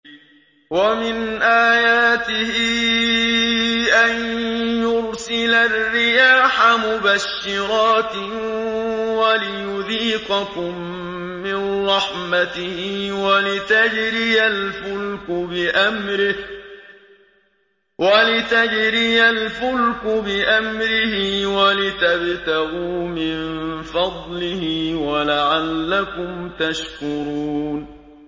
وَمِنْ آيَاتِهِ أَن يُرْسِلَ الرِّيَاحَ مُبَشِّرَاتٍ وَلِيُذِيقَكُم مِّن رَّحْمَتِهِ وَلِتَجْرِيَ الْفُلْكُ بِأَمْرِهِ وَلِتَبْتَغُوا مِن فَضْلِهِ وَلَعَلَّكُمْ تَشْكُرُونَ